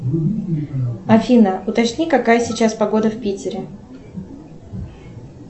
афина уточни какая сейчас погода в питере